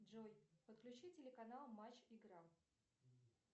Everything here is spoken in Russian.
джой подключи телеканал матч игра